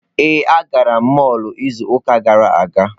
Ee, agara m mọlụ izu ụka gara aga.